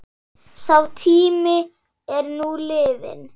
Sá tími er nú liðinn.